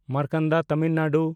Markanda Tamil Nadu